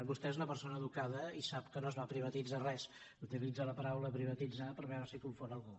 vostè és una persona educada i sap que no es va privatitzar res utilitza la paraula privatitzar per veure si confon algú